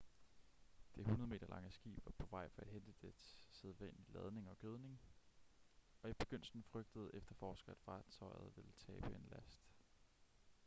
det 100-meter lange skib var på vej for at hente dets sædvanlige ladning gødning og i begyndelsen frygtede efterforskere at fartøjet ville tabe en last